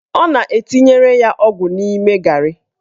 Ọ na-etinyere ya ọgwụ n'ime garị.